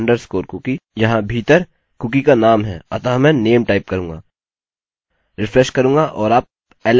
यहाँ भीतर कुकी का नाम है अतः मैं name टाइप करूँगा रिफ्रेश करूँगा और आप alex देख सकते हैं